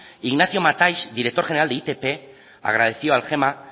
ignacio mataix director general de itp agradeció al gema